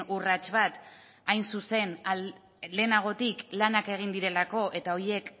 urrats bat hain zuzen lehenagotik lanak egin direlako eta horiek